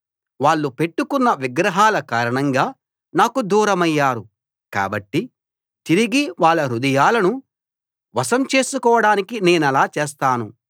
వాళ్ళు పెట్టుకున్న విగ్రహాల కారణంగా నాకు దూరమయ్యారు కాబట్టి తిరిగి వాళ్ళ హృదయాలను వశం చేసుకోడానికి నేనలా చేస్తాను